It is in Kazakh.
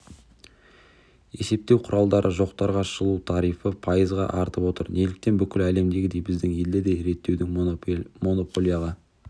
есептеу құралдары жоқтарға жылу тарифі пайызға артып отыр неліктен бүкіл әлемдегідей біздің елде де реттеудің монополияға